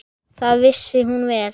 Það vissi hún vel.